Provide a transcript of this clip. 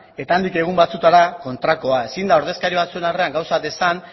eta handik egun batzuetara kontrakoa ezin da ordezkari batzuen aurrean gauzak esan